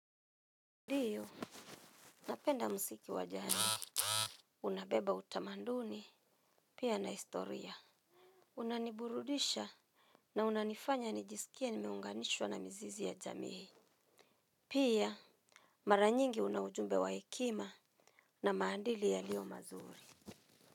Ndio, napenda muziki wa jadi, unabeba utamanduni, pia na istoria. Unaniburudisha na unanifanya nijisikie nimeunganishwa na mzizi ya jamii. Pia, mara nyingi una ujumbe wa hekima na maandili yaliyo mazuri.